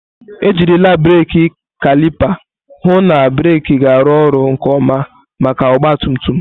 Ejirila brekị kalịpa hụ na breeki ga-arụ ọrụ nke ọma maka ọgba tum tum.